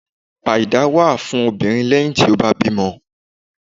Àìdá wa fún obírín leyin tí o ba to bimò